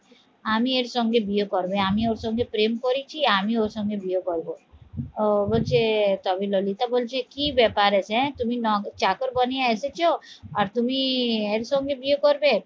আমি এর সঙ্গে বিয়ে করবে আমি ওর সঙ্গে প্রেম করেছি আমি ওর সঙ্গে বিয়ে করবো ও বলছে তবে ললিতা বলছে কি ব্যাপার আছে হ্যাঁ? তুমি ন চাকর বানিয়ে এসেছো আর তুমি এর সঙ্গে বিয়ে করবে?